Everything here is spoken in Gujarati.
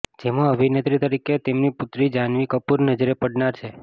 જેમાં અભિનેત્રી તરીકે તેમની પુત્રી જાન્હવી કપુર નજરે પડનાર છે